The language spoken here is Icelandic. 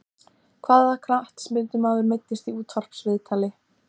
Hvaða knattspyrnumaður meiddist í útvarpsviðtali?